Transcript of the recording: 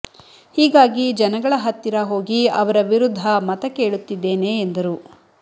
ಹೀಗಾಗಿ ಜನಗಳ ಹತ್ತಿರ ಹೋಗಿ ಅವರ ವಿರುದ್ಧ ಮತ ಕೇಳುತ್ತಿದ್ದೇನೆ ಎಂದರು